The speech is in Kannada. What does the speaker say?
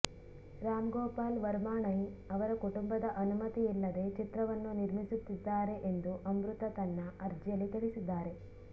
ರಾಮ್ ಗೋಪಾಲ್ ವರ್ಮಾ ಣಯ್ ಅವರ ಕುಟುಂಬದ ಅನುಮತಿಯಿಲ್ಲದೆ ಚಿತ್ರವನ್ನು ನಿರ್ಮಿಸುತ್ತಿದ್ದಾರೆ ಎಂದು ಅಮೃತಾ ತನ್ನ ಅರ್ಜಿಯಲ್ಲಿ ತಿಳಿಸಿದ್ದಾರೆ